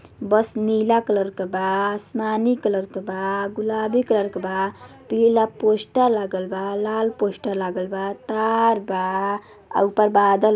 बस नीला कलर का बा आसमानी कलर का बा गुलाबी कलर का बा पीला पोस्टर लगल बा लाल पोस्टर लगल बा तार बा और ऊपर बादल --